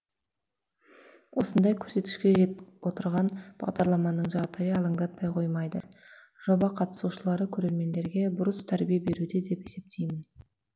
осындай көрсеткішке жет отырған бағдарламаның жағдайы алаңдатпай қоймайды жоба қатысушылары көрермендерге бұрыс тәрбие беруде деп есептеймін